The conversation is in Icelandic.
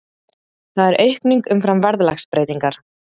Það er aukning umfram verðlagsbreytingar